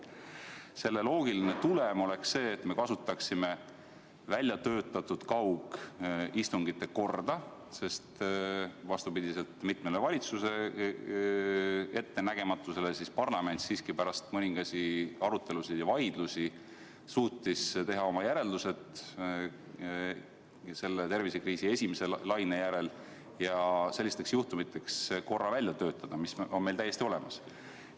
Selle loogiline tulem oleks see, et me kasutaksime väljatöötatud kaugistungite korda, sest vastupidi mitmele valitsuse ettenägematusele suutis parlament siiski pärast mõningasi arutelusid ja vaidlusi teha tervisekriisi esimese laine järel oma järeldused ning töötada sellisteks juhtumiteks välja korra, mis on meil täiesti olemas.